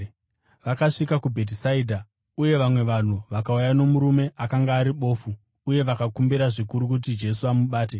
Vakasvika kuBhetisaidha, uye vamwe vanhu vakauya nomurume akanga ari bofu uye vakakumbira zvikuru kuti Jesu amubate.